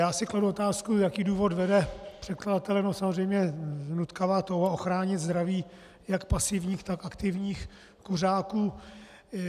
Já si kladu otázku, jaký důvod vede předkladatele - samozřejmě nutkavá touha ochránit zdraví jak pasivních, tak aktivních kuřáků.